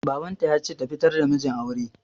Babanta ya ce ta fitar da mijin aure